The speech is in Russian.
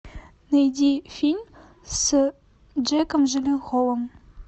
найди фильм с джейком джилленхолом